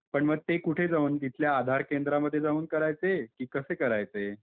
पण मग ते कुठे जाऊन तिथल्या आधार केंद्रामध्ये जाऊन करायचे कि कसे करायचे?